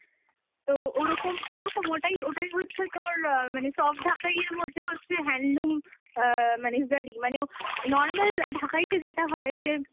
তো ওরকম, ওরকম, ওটাই, ওটাই হচ্ছে তোর অ্যাঁ মানে soft ঢাকাইয়ের মধ্যে হচ্ছে handloom অ্যাঁ মানে জারি মানে ও normal ঢাকাইতে যেটা হয় যে